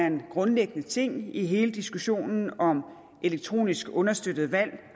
en grundlæggende ting i hele diskussionen om elektronisk understøttede valg